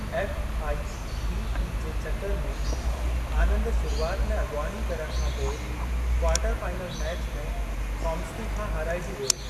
FIDE जे चकर में, आनंद शुरुआत में अॻिवानी करण खां पोइ, क्वार्टर फाइनल मैच में काम्स्की खां हाराइजी वियो।